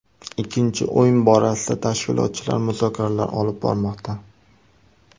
Ikkinchi o‘yin borasida tashkilotchilar muzokaralar olib bormoqda.